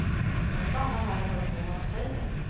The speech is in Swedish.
Jag stannar här och hör på vad de säger.